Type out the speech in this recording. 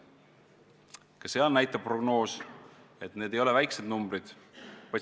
Ka see prognoos näitab, et need ei ole väikesed numbrid.